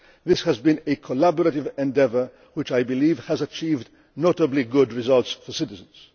This has been a collaborative endeavour which I believe has achieved notably good results for citizens.